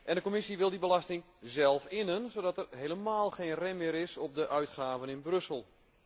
De Commissie wil die belasting zelf innen, zodat er helemaal geen rem meer is op de uitgaven in Brussel.